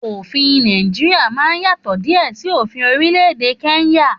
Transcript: Òfin Nàìjíríà máa yàtọ̀ diẹ sí òfin orílẹ̀-èdè kenya